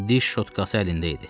Diş şotkası əlində idi.